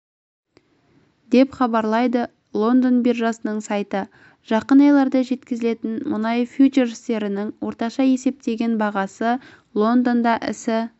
деп хабарлайды лондон биржасының сайты жақын айларда жеткізілетін мұнай фьючерстерінің орташа есептеген бағасы лондонда ісі